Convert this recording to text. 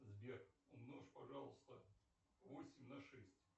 сбер умножь пожалуйста восемь на шесть